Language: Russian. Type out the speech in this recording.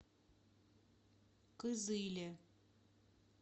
кызыле